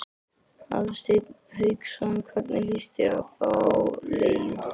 Hafsteinn Hauksson: Hvernig lýst þér á þá leið?